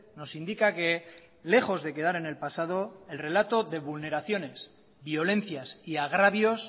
nos indica que lejos de quedar en el pasado el relato de vulneraciones violencias y agravios